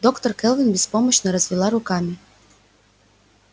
доктор кэлвин беспомощно развела руками